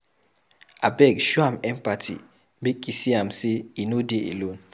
Abeg show am empathy make e see am sey e no dey alone.